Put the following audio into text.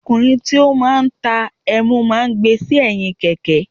Ọkùnrin tí ó máa ń ta ẹmu máa ń gbé e sẹ́yìn Kẹ̀kẹ́.